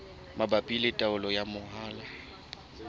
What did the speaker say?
mabapi le taolo ya mahola